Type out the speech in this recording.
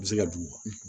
U bɛ se ka d'u ma